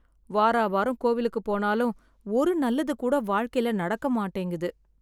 வார வாரம் கோவிலுக்கு போனாலும் ஒரு நல்லது கூட வாழ்க்கையில நடக்க மாட்டேங்குது